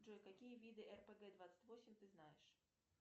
джой какие виды рпг двадцать восемь ты знаешь